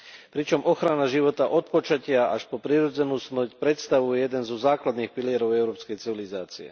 Pričom ochrana života od počatia až po prirodzenú smrť predstavuje jeden zo základných pilierov európskej civilizácie.